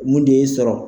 Mun de y'i sɔrɔ